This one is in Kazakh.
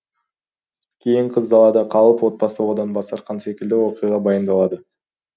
кейін қыз далада қалып отбасы одан бас тартқан секілді оқиға баяндалады